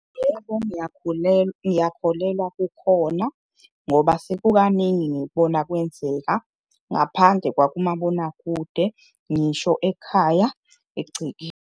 Yebo, ngiyakholelwa kukhona ngoba sekukaningi ngikubona kwenzeka ngaphandle kwakumabonakude, ngisho ekhaya egcekeni.